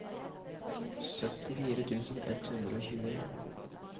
syttifire tusen ett hundre og tjueen